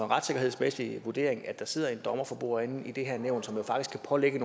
retssikkerhedsmæssig vurdering at der sidder en dommer for bordenden i det her nævn som jo faktisk kan pålægge